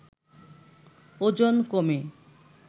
ওজন কমে